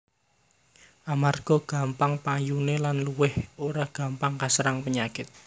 Amarga gampang payuné lan luwih ora gampang kaserang penyakit